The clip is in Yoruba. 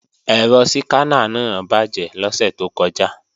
Ẹ̀rọ síkáná náà bàjé lọ́sẹ̀ tó kọjá